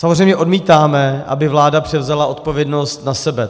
Samozřejmě odmítáme, aby vláda převzala odpovědnost na sebe.